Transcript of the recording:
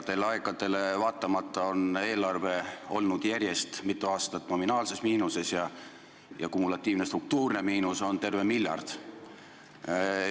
Headele aegadele vaatamata on eelarve olnud järjest mitu aastat nominaalses miinuses ja kumulatiivne struktuurne miinus on terve miljard.